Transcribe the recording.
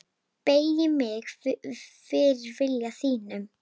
Beygi mig fyrir vilja þínum.